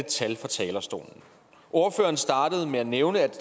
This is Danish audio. tal fra talerstolen ordføreren startede med at nævne at